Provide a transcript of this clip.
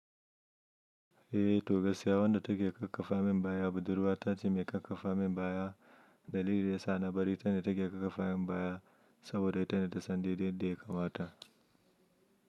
Eh, to gaskiya wanda take ƙaƙafa min baya budurwa tace mai ƙaƙafa min baya. Dalili yasa na bari tana take ƙaƙafa min baya saboda tana da sandi ɗin da ya kamata.